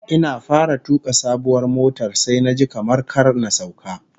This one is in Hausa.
Ina fara tuka sabuwar motar sai naji kamar kar na sauka